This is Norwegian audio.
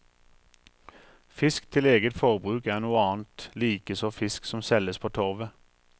Fisk til eget forbruk er noe annet, likeså fisk som selges på torvet.